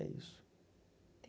É isso.